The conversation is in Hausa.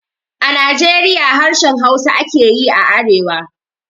A Najeriya harshen Hausa ake yi a arewa